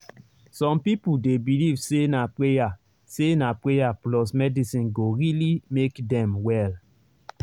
some people dey believe say na prayer say na prayer plus medicine go really make dem well.